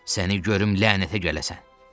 Səni görüm lənətə gələsən.